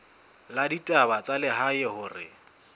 la ditaba tsa lehae hore